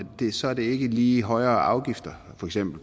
det så ikke lige med højere afgifter